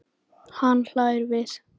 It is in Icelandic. Hann hlær við.